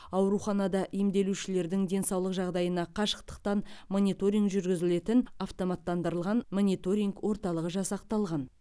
ауруханада емделушілердің денсаулық жағдайына қашықтықтан мониторинг жүргізілетін автоматтандырылған мониторинг орталығы жасақталған